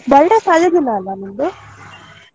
birthday ಅದೇ ದಿನ ಅಲ?